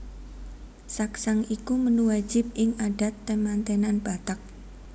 Saksang iku menu wajib ing adat temantenan Batak